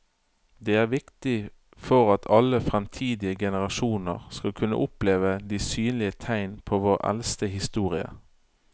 Det er viktig for at alle fremtidige generasjoner skal kunne oppleve de synlige tegn på vår eldste historie.